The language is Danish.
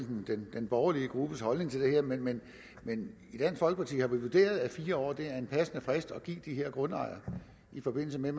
den borgerlige gruppes holdning til det her men men i dansk folkeparti har vi vurderet at fire år er en passende frist at give de her grundejere i forbindelse med